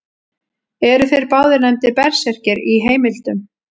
Eru þeir báðir nefndir berserkir í heimildum.